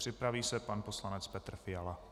Připraví se pan poslanec Petr Fiala.